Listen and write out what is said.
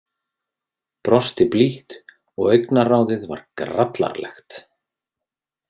Brosti blítt og augnaráðið var grallaralegt.